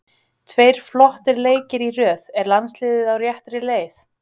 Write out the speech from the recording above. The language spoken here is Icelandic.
Tveir flottir leikir í röð, er landsliðið á réttri leið?